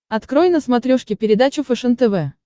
открой на смотрешке передачу фэшен тв